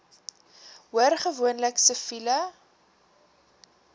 hoor gewoonlik siviele